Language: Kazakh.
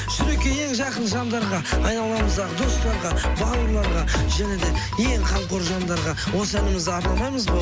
шүрекейін жақын жандарға айналамыздағы достарға бауырларға және де ең қамқор жандарға осы әнімізді арнамаймыз ба